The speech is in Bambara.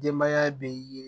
Denbaya bɛ yen